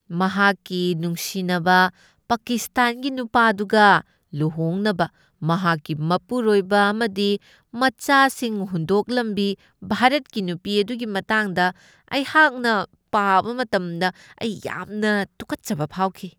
ꯃꯍꯥꯛꯀꯤ ꯅꯨꯡꯁꯤꯅꯕ ꯄꯀꯤꯁ꯭ꯇꯥꯟꯒꯤ ꯅꯨꯄꯥꯗꯨꯒ ꯂꯨꯍꯣꯡꯅꯕ ꯃꯍꯥꯛꯀꯤ ꯃꯄꯨꯔꯣꯏꯕ ꯑꯃꯗꯤ ꯃꯆꯥꯁꯤꯡ ꯍꯨꯟꯗꯣꯛꯂꯝꯕꯤ ꯚꯥꯔꯠꯀꯤ ꯅꯨꯄꯤ ꯑꯗꯨꯒꯤ ꯃꯇꯥꯡꯗ ꯑꯩꯍꯥꯛꯅ ꯄꯥꯕ ꯃꯇꯝꯗ ꯑꯩ ꯌꯥꯝꯅ ꯇꯨꯀꯠꯆꯕ ꯐꯥꯎꯈꯤ ꯫